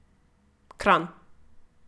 Kranj.